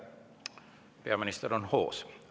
Peaminister on hoos.